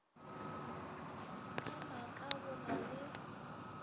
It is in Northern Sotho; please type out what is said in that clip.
ka maaka go na le